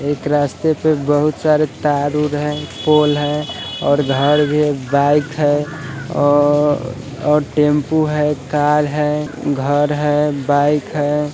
एक रास्ते पे बहुत सारे तार वुर है पूल है और घर भी तार भी है बाइक है टेम्पू है कार है घर है बाइक है।